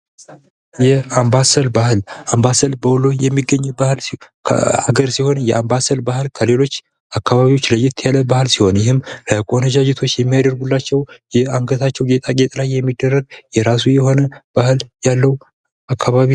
የአምባሰል ባህል በወሎ የሚገኝ ባህል ሲሆን የአምባሰል ባህል ከሌሎች አካባቢዎች ለየት ያለ ባህል ሲሆን ይህም ለቆንጃጅቶች የሚያደርጉላቸው አንገታቸው ላይ ባሉ ጌጣጌጦች ላይ የሚደረግ የራሱ የሆነ ባህል ያለው አካባቢ